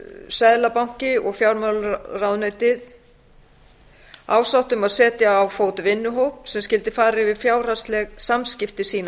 seðlabanki og fjármálaráðuneyti ásátt um að setja á fót vinnuhóp sem skyldi fara yfir fjárhagsleg samskipti sín á